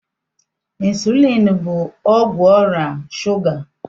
Ịnsụlịn bụ ọgwụ ọrịa shuga.